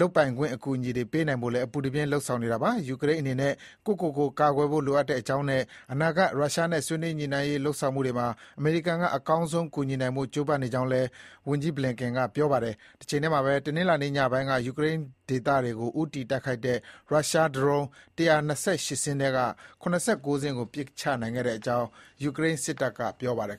လုပ်ပိုင်ခွင့်အကူအညီတွေပေးနိုင်ဖို့လည်း အပူတပြင်း လုပ်ဆောင်နေတာပါ။ ယူကရိန်းအနေနဲ့ ကိုယ့်ကိုယ်ကိုကာကွယ်ဖို့ လိုအပ်ကြောင်းနဲ့ အနာဂတ် ရုရှားနဲ့ ဆွေးနွေးညှိနှိုင်းရေးလုပ်ဆောင်မှုတွေမှာ အမေရိကန်က အကောင်းဆုံးကူညီနိုင်ဖို့ ကြိုးပမ်းနေကြောင်းလည်း အမေရိကန်နိုင်ငံခြားရေးဝန်ကြီး Antony Blinken ကပြောဆိုခဲ့ပါတယ်။ တချိန်တည်းမှာပဲ တနင်္လာညပိုင်း ယူကရိန်းဒေသတွေကို ဦးတည်တိုက်ခိုက်တဲ့ ရုရှားဒရုန်း ၁၂၈ စင်းထဲက ၇၉ စင်းကို ပစ်ချနိုင်ခဲ့ကြောင်း ယူကရိန်းစစ်တပ်ကပြောပါတယ်